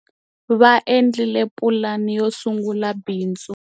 Va endlile pulani yo sungula bindzu.